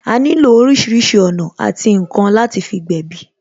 A nílò orísìírísìí ọ̀nà àti ǹkan láti fi gbèbí